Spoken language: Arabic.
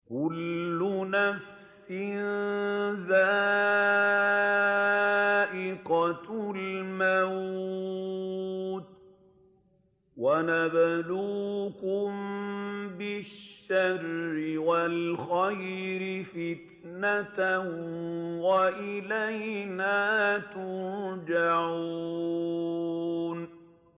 كُلُّ نَفْسٍ ذَائِقَةُ الْمَوْتِ ۗ وَنَبْلُوكُم بِالشَّرِّ وَالْخَيْرِ فِتْنَةً ۖ وَإِلَيْنَا تُرْجَعُونَ